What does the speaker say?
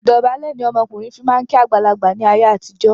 Ìdọ̀bálẹ̀ ni ọmọkùnrin fi máa ń kí àgbàlagbà ni ayé àtijọ́